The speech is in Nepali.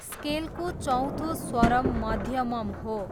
स्केलको चौथो स्वरम् मध्यमम् हो।